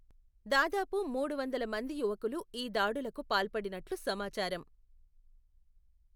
దాదాపు మూడు వందల మంది యువకులు ఈ దాడులకు పాల్పడినట్లు సమాచారం.